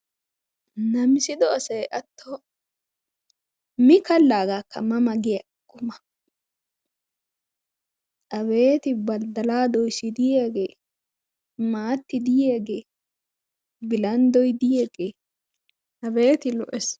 Namissido asay atto mi kalagaakka ma ma giya quma Abeeti badala doyssi diyaage, maatti diyaagee, bilanddoy diyaage abeeti lo"essi!